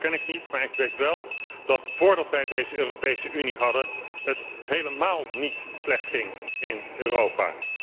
Die glazen bol ken ik niet, maar ik weet wel dat voordat wij deze Europese Unie hadden, het helemaal niet slecht ging in Europa.